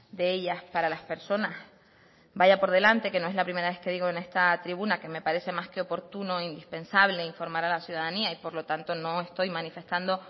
de ellas para las personas vaya por delante que no es la primera vez que digo en esta tribuna que me parece más que oportuno e indispensable informar a la ciudadanía y por lo tanto no estoy manifestando